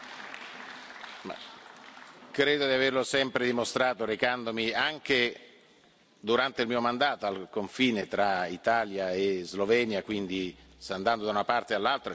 Credo di averlo sempre dimostrato recandomi, anche durante il mio mandato, al confine tra Italia e Slovenia, quindi andando da una parte all'altra, e c'erano anche parlamentari europei con me.